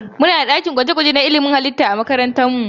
Muna da ɗakin gwaje-gwaje na ilimin halitta a makarantar mu.